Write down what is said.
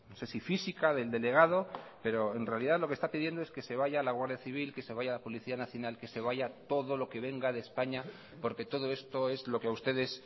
sé si física del delegado pero en realidad lo que está pidiendo es que se vaya la guardia civil que se vaya la policía nacional que se vaya todo lo que venga de españa porque todo esto es lo que a ustedes